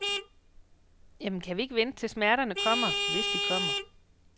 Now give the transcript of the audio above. Jamen, kan vi ikke vente til smerterne kommer, hvis de kommer.